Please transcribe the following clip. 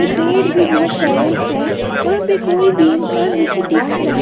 पेड़ भी बहुत सारे हैं वहां पे कोई भी इंसान नहीं दिख रहा।